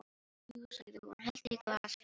Jú, sagði hún, helltu í glas fyrir mig.